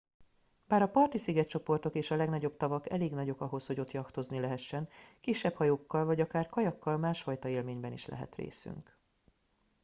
bár a parti szigetcsoportok és a legnagyobb tavak elég nagyok ahhoz hogy ott jachtozni lehessen kisebb hajókkal vagy akár kajakkal másfajta élményben is lehet részünk